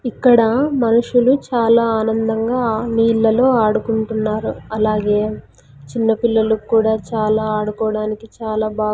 ఇక్కడ మనుషులు చాలా ఆనందంగా నీళ్లలో ఆడుకుంటున్నారు అలాగే చిన్నపిల్లల కూడా చాలా ఆడుకోవడానికి చాలా బా--